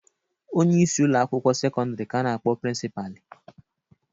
Onyeisi ụlọ akwụkwọ sekọndịrị ka a na-akpọ prịnsịpalị.